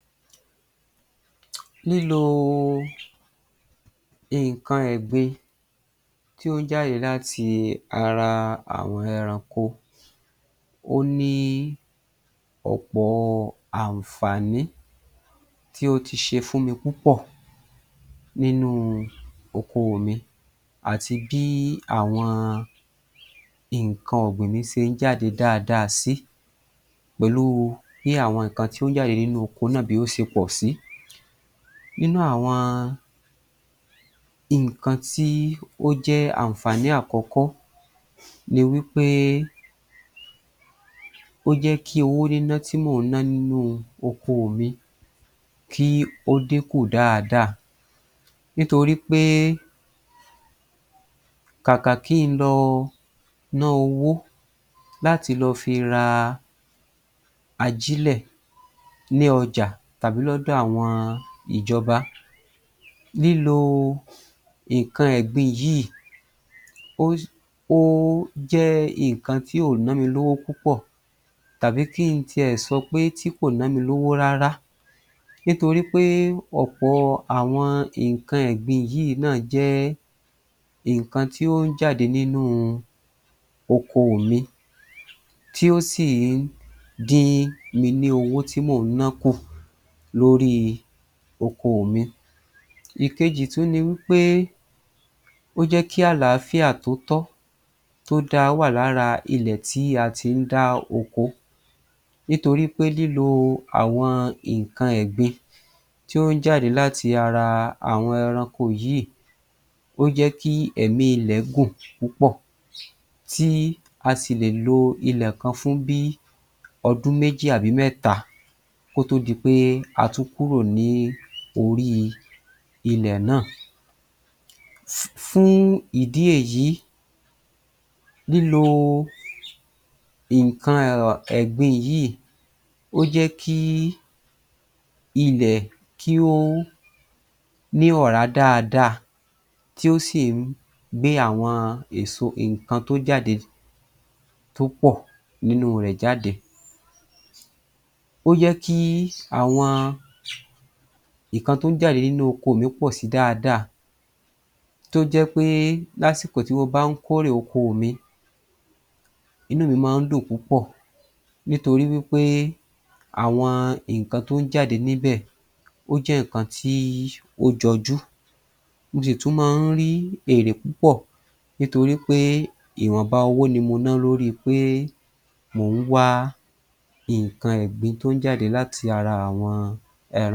Lílo nǹkan ẹ̀gbin tí ó jáde láti ara àwọn ẹranko ó ní ọ̀pọ̀ àǹfààní tí ó ti ṣe fúnmi púpọ̀ nínú oko mi àti bí àwọn nǹkan ọ̀gbìn mi sé ń jáde dáadáa sí pẹ̀lú u bí àwọn nǹkan tí ó ń jáde nínú oko náà bí ó se pọ̀ sí. Nínú àwọn nǹkan tí ó jẹ́ àǹfààní àkọ́kọ́ ni wí pé ó jẹ́ kí owó níná tí mò ń ná nínú oko mi kí ó dínkù dáadáa nítorí pé kàkà kí n lọ nọ́ owó láti lọ fi ra ajílẹ̀ ní ọjà tàbí lọ́dọ̀ àwọn ìjọba. Lílo nǹkan ẹ̀gbin yìí o o jẹ́ nǹkan tí ò nọ́ mi lówó púpọ̀ tàbí kí n tiẹ̀ sọ pé kò nọ́ mi lówó rárá nítorí pé ọ̀pọ̀ àwọn nǹkan ẹ̀gbin yìí náà jẹ́ nǹkan tí ó ń jáde nínú oko mi tí ó sì ń dín mi ní owó tí mò ń nọ́ kù lórí oko mi. Ìkejì tún ni wí pé ó jẹ́ kí àlàáfíà tótọ́, tó da wà lára ilẹ̀ tí a tí ń dá oko nítorí pé lílo àwọn nǹkan ẹ̀gbin tí ó ń jáde láti ara àwọn ẹranko yìí ó jẹ́ kí èmi ilẹ̀ gùn-ùn púpọ̀ tí a sì lè lo ilẹ̀ kan fún bí ọdún méjì àbí mẹ́ta kótó di pé a tún kúrò ní orí ilẹ̀ náà. Fún ìdí èyí lílo nǹkan ẹ̀gbin yìí, ó jẹ́ kí ilẹ̀ kí ó ní ọ̀rá dáadáa tí ó sì ń gbé àwọn èso nǹkan tó jáde tó pọ̀ nínú rẹ̀ jáde. Ó jẹ́ kí àwọn nǹkan tó ń jáde nínú oko mi pọ̀ si dáadáa tó jẹ́ pé lásìkò tí mo bá ń kórè oko mi inú mi máa ń dùn púpọ̀ nítorí wí pé àwọn nǹkan tó ń jáde níbẹ̀, ó jẹ́ nǹkan tí ó jọjú mo sì tún máa ń rí èrè púpọ̀ nítorí pé ìwọ̀nba owó ni mo nọ́ lóri pé mò ń wá nǹkan ẹ̀gbin tó ń jáde láti ara àwọn.